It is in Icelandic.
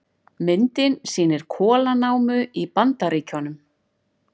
Myndin sýnir kolanámu í Bandaríkjunum.